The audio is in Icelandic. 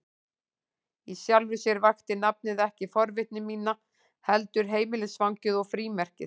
Í sjálfu sér vakti nafnið ekki forvitni mína, heldur heimilisfangið og frímerkið.